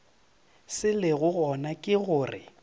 se lego gona ke gore